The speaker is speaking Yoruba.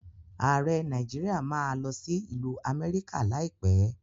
Ààrẹ Nàíjíríà má a lọ sí ìlú Amẹ́ríkà láìpẹ́.